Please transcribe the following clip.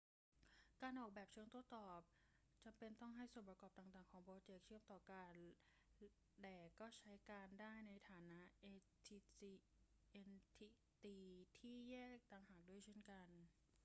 การออกแบบเชิงโต้ตอบจำเป็นต้องให้ส่วนประกอบต่าง ๆ ของโปรเจ็กต์เชื่อมต่อกัน แต่ก็ใช้การได้ในฐานะเอนทิตีที่แยกต่างหากด้วยเช่นกัน